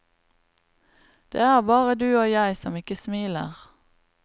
Det er bare du og jeg som ikke smiler.